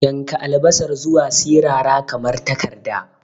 Yanka albasar zuwa sirara kamar takarda.